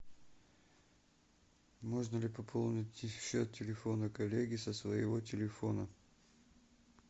можно ли пополнить счет телефона коллеги со своего телефона